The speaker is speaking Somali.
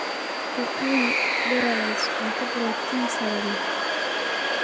Ku quudi broilers cunto borotiin sare leh.